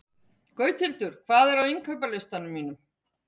Gauthildur, hvað er á innkaupalistanum mínum?